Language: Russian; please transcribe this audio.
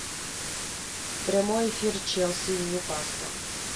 прямой эфир челси и ньюкасла